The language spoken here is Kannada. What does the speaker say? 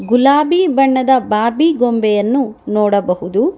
ಗುಲಾಬಿ ಬಣ್ಣದ ಬಾರ್ಬಿ ಗೊಂಬೆಯನ್ನು ನೋಡಬಹುದು.